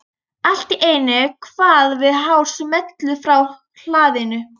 Allt í einu kvað við hár smellur frá hlaðinu.